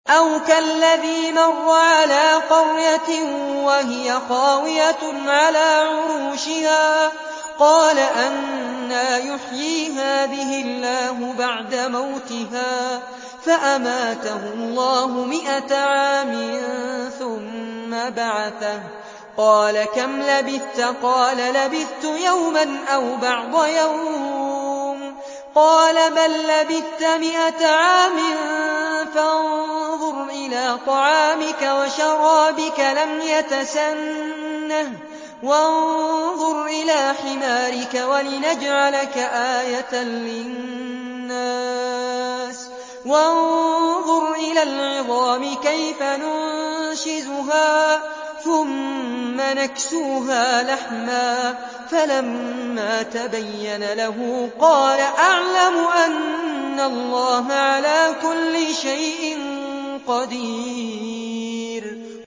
أَوْ كَالَّذِي مَرَّ عَلَىٰ قَرْيَةٍ وَهِيَ خَاوِيَةٌ عَلَىٰ عُرُوشِهَا قَالَ أَنَّىٰ يُحْيِي هَٰذِهِ اللَّهُ بَعْدَ مَوْتِهَا ۖ فَأَمَاتَهُ اللَّهُ مِائَةَ عَامٍ ثُمَّ بَعَثَهُ ۖ قَالَ كَمْ لَبِثْتَ ۖ قَالَ لَبِثْتُ يَوْمًا أَوْ بَعْضَ يَوْمٍ ۖ قَالَ بَل لَّبِثْتَ مِائَةَ عَامٍ فَانظُرْ إِلَىٰ طَعَامِكَ وَشَرَابِكَ لَمْ يَتَسَنَّهْ ۖ وَانظُرْ إِلَىٰ حِمَارِكَ وَلِنَجْعَلَكَ آيَةً لِّلنَّاسِ ۖ وَانظُرْ إِلَى الْعِظَامِ كَيْفَ نُنشِزُهَا ثُمَّ نَكْسُوهَا لَحْمًا ۚ فَلَمَّا تَبَيَّنَ لَهُ قَالَ أَعْلَمُ أَنَّ اللَّهَ عَلَىٰ كُلِّ شَيْءٍ قَدِيرٌ